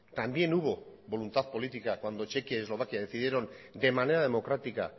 también hubo voluntad política cuando chequia y eslovaquia decidieron de manera democrática